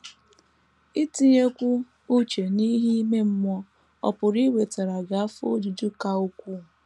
Itinyekwu uche n’ihe ime mmụọ ọ̀ pụrụ iwetara gị afọ ojuju ka ukwuu?